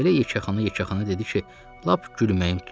Elə yekəxana-yekəxana dedi ki, lap gülməyim tutdu.